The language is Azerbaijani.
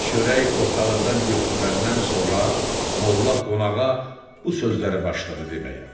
Çörək ortalıqdan götürüləndən sonra Molla qonağa bu sözləri başladı deməyə.